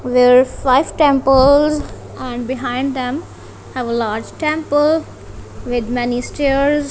five temples and behind them have a large temple with many stairs.